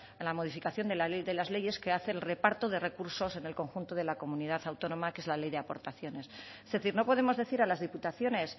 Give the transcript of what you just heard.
a la modificación de la ley que hace el reparto de recursos en el conjunto de la comunidad autónoma que es la ley de aportaciones es decir no podemos decir a las diputaciones